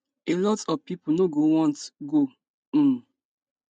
a lot of pipo no go want go um